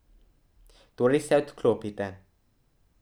Torej se odklopite!